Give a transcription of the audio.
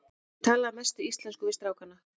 Ég tala að mestu íslensku við strákana.